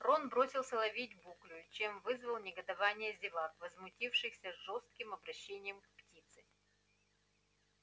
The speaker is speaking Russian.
рон бросился ловить буклю чем вызвал негодование зевак возмутившихся жестоким обращением с птицей